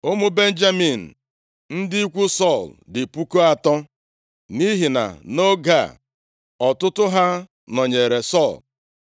Ụmụ Benjamin, ndị ikwu Sọl, dị puku atọ (3,000), nʼihi na nʼoge a, ọtụtụ ha nọnyeere Sọl.